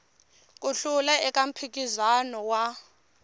ku hlula eka mphikizano wa